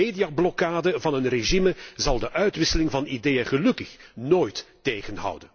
De mediablokkade van het regime zal de uitwisseling van ideeën gelukkig nooit tegenhouden.